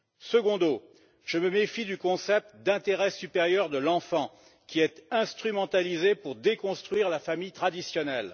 Secundo, je me méfie du concept de l'intérêt supérieur de l'enfant, qui est instrumentalisé pour déconstruire la famille traditionnelle.